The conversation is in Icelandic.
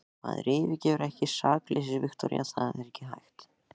Maður yfirgefur ekki sakleysið, Viktoría, það er ekki hægt.